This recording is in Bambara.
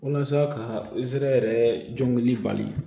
Walasa ka yɛrɛ jɔngɔni bali